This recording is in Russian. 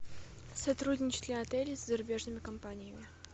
сотрудничает ли отель с зарубежными компаниями